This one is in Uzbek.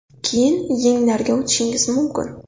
Keyin yenglarga o‘tishingiz mumkin.